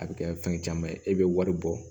A bɛ kɛ fɛn caman ye e bɛ wari bɔ